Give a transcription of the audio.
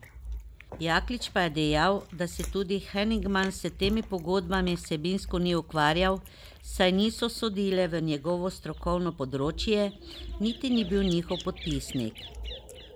Jaklič pa je dejal, da se tudi Heningman s temi pogodbami vsebinsko ni ukvarjal, saj niso sodile v njegovo strokovno področje, niti ni bil njihov podpisnik.